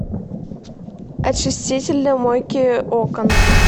очиститель для мойки окон